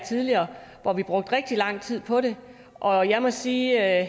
tidligere hvor vi brugte rigtig lang tid på det og jeg må sige at